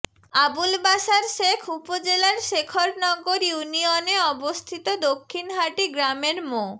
আবুল বাশার শেখ উপজেলার শেখরনগর ইউনিয়নে অবস্থিত দক্ষিণহাটী গ্রামের মো